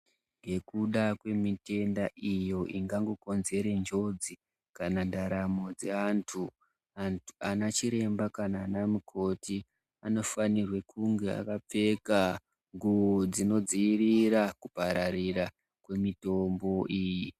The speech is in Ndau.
Ngekuda mwemitenda iyo ingango konzere njodzi kana ndaramo dzeantu, ana chiremba kana ana mukhoti anofanirwe kunge akapfeka nguvo dzinoadzivirira kupararira kwemitombo iyi.